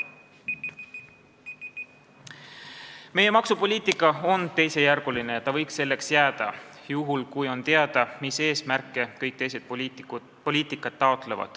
Meie maksupoliitika on teisejärguline ja ta võiks selliseks jääda, juhul, kui on teada, mis eesmärke taotlevad kõik teised poliitikad.